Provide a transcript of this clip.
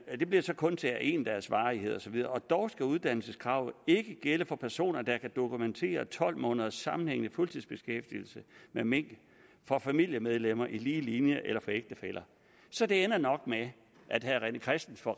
det blev så kun til af en dags varighed og så videre dog skal uddannelseskravet ikke gælde for personer der kan dokumentere tolv måneders sammenhængende fuldtidsbeskæftigelse med mink for familiemedlemmer i lige linje eller for ægtefæller så det ender nok med at herre rené christensen